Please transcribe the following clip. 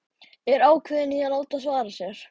Er ákveðin í að láta svara sér.